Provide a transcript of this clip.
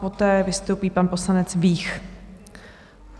Poté vystoupí pan poslanec Vích.